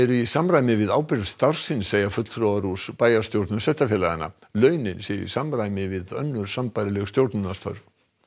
í samræmi við ábyrgð starfsins segja fulltrúar úr bæjarstjórnum sveitarfélaganna launin séu samræmi við önnur sambærileg stjórnunarstörf